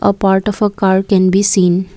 part of a car can be seen.